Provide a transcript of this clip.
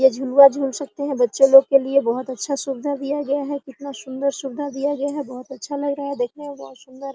ये झुलवा झुल सकते है बच्चे लोग के लिए बहुत अच्छा सुविधा दिया गया है कितना सुन्दर सुविधा दिया गया है बहुत अच्छा लग रहा है देखने में बहुत सुन्दर --